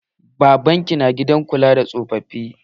Baban ki na gidan kula da tsofafi.